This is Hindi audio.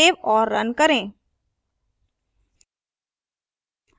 सेव और run करें